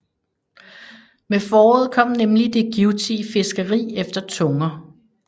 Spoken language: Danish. Med foråret kom nemlig det givtige fiskeri efter tunger